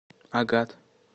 агат